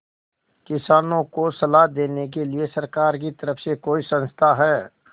किसानों को सलाह देने के लिए सरकार की तरफ से कोई संस्था है